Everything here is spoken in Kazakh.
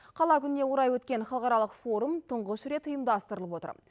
қала күніне орай өткен халықаралық форум тұңғыш рет ұйымдастырылып отыр